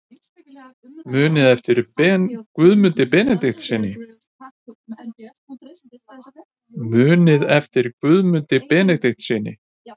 Muniði eftir Guðmundi Benediktssyni?